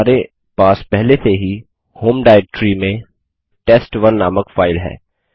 हमारे पास पहले से ही homeanirbanarc में टेस्ट1 नामक फाइल है